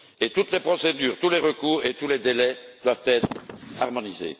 Toutes les procédures, tous les recours et tous les délais doivent être harmonisés.